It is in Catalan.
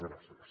gràcies